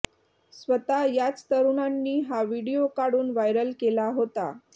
स्वतः याच तरुणांनी हा व्हिडीओ काढून व्हायरल केला होता